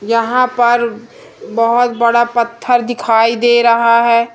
यहां पर बहुत बड़ा पत्थर दिखाई दे रहा है।